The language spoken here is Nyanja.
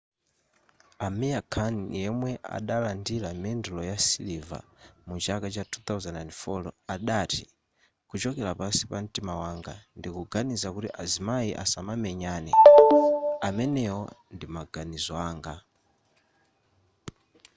amir khan yemwe adalandira mendulo ya siliva mu chaka cha 2004 adati kuchokera pansi pa mtima wanga ndikuganiza kuti azimayi asamamenyane amenewo ndi maganizo anga